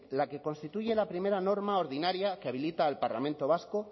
la que constituye la primera norma ordinaria que habilita al parlamento vasco